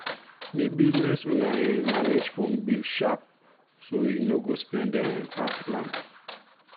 the business owner um manage phone bill sharp so e no go spend um pass plan.